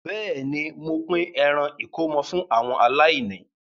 Bẹ́ẹ̀ ni, mo pín ẹran ìkómọ fú àwọn aláìní.